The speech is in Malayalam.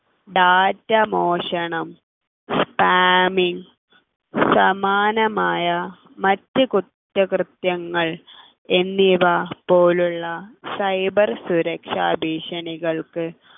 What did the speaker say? data മോഷണം spaming സമാനമായ മറ്റു കുറ്റകൃത്യങ്ങൾ എന്നിവ പോലുള്ള cyber സുരക്ഷാ ഭീക്ഷണികൾക്ക്